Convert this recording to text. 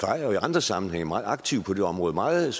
har jo i andre sammenhænge været meget aktiv på det område meget